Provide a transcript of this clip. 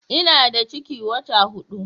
Ina da ciki wata hudu